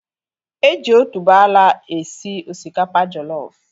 Eji otuboala esi osikapa jollof